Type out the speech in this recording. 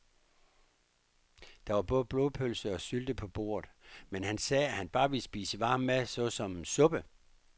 Der var både blodpølse og sylte på bordet, men han sagde, at han bare ville spise varm mad såsom suppe.